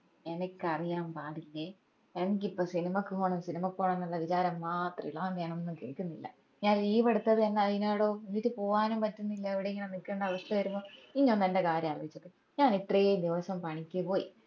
എനിക്ക് അറിയാൻ പാടില്ലേ അനക്കിപ്പോ സിനിമക്ക് പോണം സിനിമക്ക് പോണം എന്നുള്ള വിചാരം മാത്രമേ ഇള്ളൂ അതോണ്ട് ഞാൻ ഒന്നും കേക്കുന്നില്ല ഞാൻ leave എടുത്തത് തന്നെ അയിനാടോ എന്നിട്ട് പോവ്വാനും പറ്റുന്നില്ല ഇവിടെ ഇങ്ങനെ നിക്കുന്ന അവസ്ഥ വരുമ്പോ ഇഞ് ഒന്ന് എന്റ കാര്യം ആലോയിച്ച് നോക്ക് ഞാൻ ഇത്രേം ദിവസം പണിക്ക് പോയി